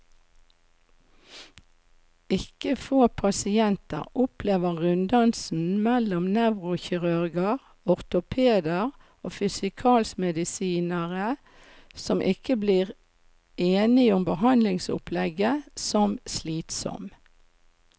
Ikke få pasienter opplever runddansen mellom nevrokirurger, ortopeder og fysikalmedisinere, som ikke blir enige om behandlingsopplegget, som slitsom.